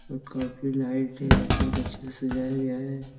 काफी लाइट है बहुत अच्छे से सजाया गया है।